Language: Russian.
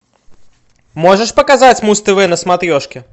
можешь показать муз тв на смотрешке